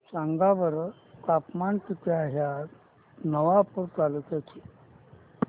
सांगा बरं तापमान किता आहे आज नवापूर तालुक्याचे